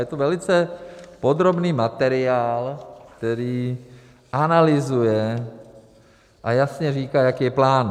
Je to velice podrobný materiál, který analyzuje a jasně říká, jaký je plán.